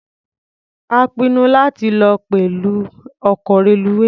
A pinnu láti lọ pẹ̀lú ọkọ̀ reluwé.